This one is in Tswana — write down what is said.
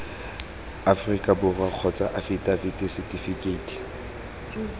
aforika borwa kgotsa afitafiti setifikeiti